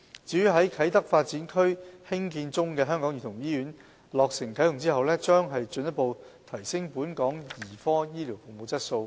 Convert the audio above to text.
至於在啟德發展區興建中的香港兒童醫院在落成啟用後，將進一步提升本港兒科醫療服務的質素。